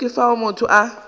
kgole ke fao motho a